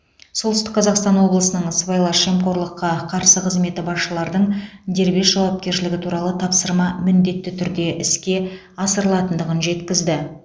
солтүстік қазақстан облысының сыбайлас жемқорлыққа қарсы қызметі басшылардың дербес жауапкершілігі туралы тапсырма міндетті түрде іске асырылатындығын жеткізді